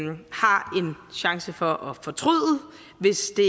chance for at fortryde hvis